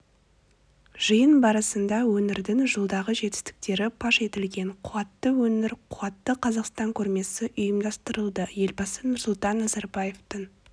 жиын барысында өңірдің жылдағы жетістіктері паш етілген қуатты өңір қуатты қазақстан көрмесі ұйымдастырылды елбасы нұрсұлтан назарбаевтың